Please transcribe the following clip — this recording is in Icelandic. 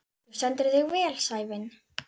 Þú stendur þig vel, Sævin!